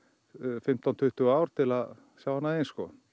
fimmtán til tuttugu ár til að sjá annað eins